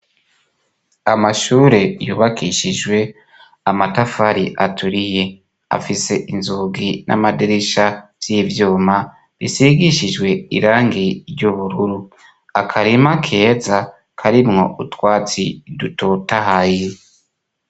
Amashure yubakishijwe amatafari aturiye. Afise inzugi n'amadirisha vy'ivyuma bisigishijwe irangi ry'ubururu. Akarima keza karimwo utwatsi dutotahaye.